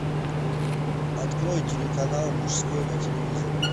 открой телеканал мужской на телевизоре